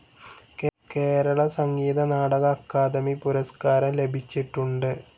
കേരള സംഗീത നാടക അക്കാദമി പുരസ്കാരം ലഭിച്ചിട്ടുണ്ട്.